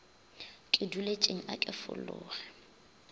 ke duletšeng a ke fologe